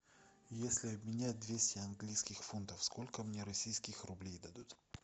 если обменять двести английских фунтов сколько мне российских рублей дадут